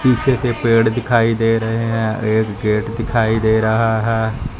पीछे से पेड़ दिखाई दे रहे हैं एक गेट दिखाई दे रहा है।